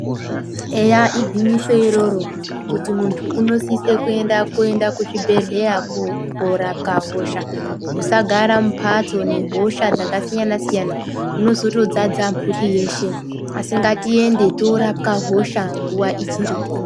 Eya igwinyiso iroro, kuti munthu unosisa kuenda kuchibhedhleya koorapwa hosha ,musagara mumphatso nehosha dzakasiyana-siyana ,munozotodzadza mphuri yeshe, asi ngatiende toorapwa hosha nguwa ichiripo.